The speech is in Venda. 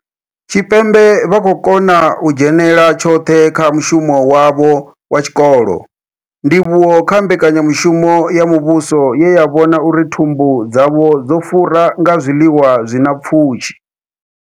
Tshipembe vha khou kona u dzhenela tshoṱhe kha mushumo wavho wa tshikolo, ndivhuwo kha mbekanya mushumo ya muvhuso ye ya vhona uri thumbu dzavho dzo fura nga zwiḽiwa zwi na pfushi.